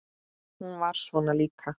Hún var svona líka.